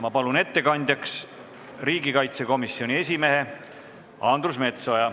Ma palun ettekandjaks riigikaitsekomisjoni esimehe Andres Metsoja.